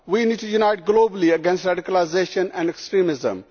We need to unite globally against radicalisation and extremism.